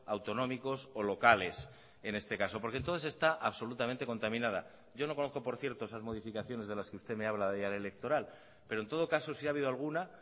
autonómicos o locales en este caso porque entonces está absolutamente contaminada yo no conozco por cierto esas modificaciones de las que usted me habla de electoral pero en todo caso si ha habido alguna